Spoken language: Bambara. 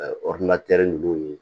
Ɛ ɔridinatɛri ninnu ye